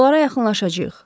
Onlara yaxınlaşacağıq.